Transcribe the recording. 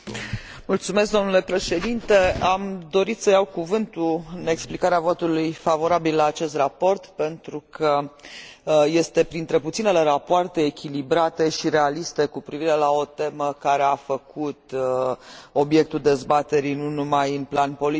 Am dorit să iau cuvântul pentru a explica votul favorabil la acest raport, pentru că este printre puținele rapoarte echilibrate și realiste cu privire la o temă care a făcut obiectul dezbaterilor nu numai în plan politic, dar și în plan